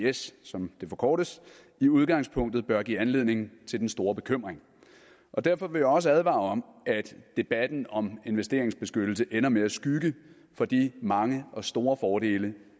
isds som det forkortes i udgangspunktet bør give anledning til den store bekymring derfor vil jeg også advare om at debatten om investeringsbeskyttelse ender med at skygge for de mange og store fordele